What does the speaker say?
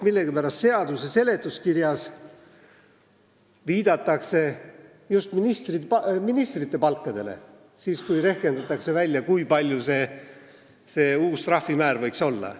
Millegipärast seaduse seletuskirjas viidatakse just ministrite palkadele, kui rehkendatakse, milline see uus trahvimäär võiks olla.